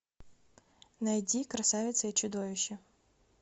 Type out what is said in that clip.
найди красавица и чудовище